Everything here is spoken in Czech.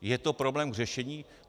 Je to problém k řešení?